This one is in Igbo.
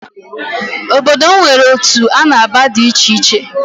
Obodo m nwere otu a na-aba di icheiche